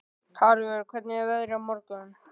Tarfur, hvernig er veðrið á morgun?